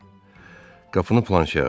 Qapını Planşe açdı.